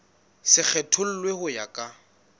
se kgethollwe ho ya ka